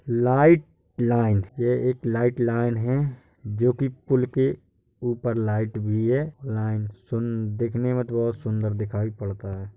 Light line ये एक light line है जो कि पुल के ऊपर लाइट भी है। लाइन सुन दिखने में तो बहुत सुंदर दिखाई पड़ता है।